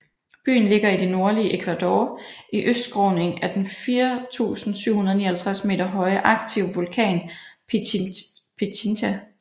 Byen ligger i det nordlige Ecuador i østskråningen af den 4759 m høje aktive vulkan Pichincha